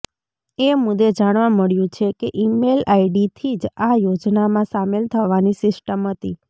એ મુદ્દે જાણવા મળ્યું છે કે ઇમેઇલ આઈડીથી જ આ યોજનામાં સામેલ થવાની સિસ્ટમ હતી